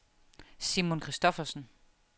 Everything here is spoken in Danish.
Simon Christoffersen